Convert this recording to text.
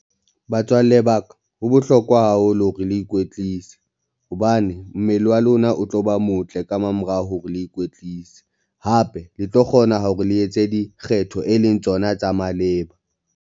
Batswalle ba ka, ho bohlokwa haholo hore le ikwetlise hobane mmele wa lona o tlo ba motle ka mamorao hore le ikwetlise, hape le tlo kgona hore le etse dikgetho e leng tsona tsa maleba.